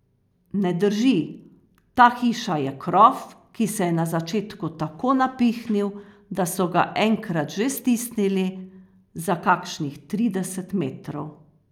Ne drži, ta hiša je krof, ki se je na začetku tako napihnil, da so ga enkrat že stisnili, za kakšnih trideset metrov!